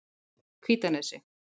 Hvítanesi